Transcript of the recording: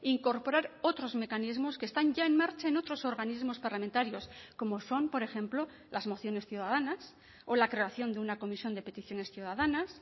incorporar otros mecanismos que están ya en marcha en otros organismos parlamentarios como son por ejemplo las mociones ciudadanas o la creación de una comisión de peticiones ciudadanas